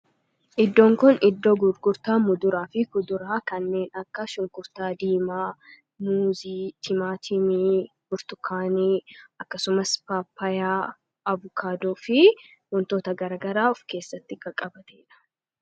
iddoon kun iddoo gurgurtaa muduraa fi kuduraa kanneen akka shunkurtaa diimaa, muuzii, timaatimii, burtukaanii akkasumas paappaayaa, abukaadoo fi wantoota garagaraa of keessatti qabateedha.